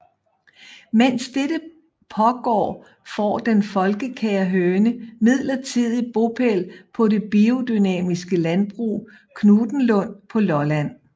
Mens dette pågår får den folkekære høne midlertidig bopæl på det biodynamiske landbrug Knuthenlund på Lolland